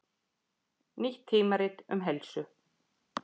Nýtt tímarit um heilsu